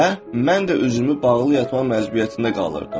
Və mən də üzümü bağlı yatmaq məcburiyyətində qalırdım.